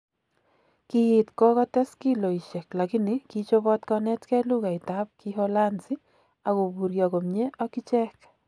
Kiit kogotes kiloishek lakini ki chobot konetken lughait ab Kiholanzi ak koburyo komnye ak ichek.